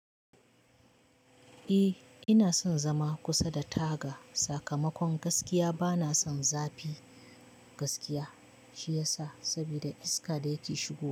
Eh ina son zama kusa da taga sakamakon gaskiya bana son zafi gaskiya shi yasa saboda iska da yake shigowa.